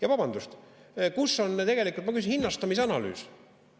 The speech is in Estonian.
Ja vabandust, kus on tegelikult, ma küsin, hinnastamise analüüs?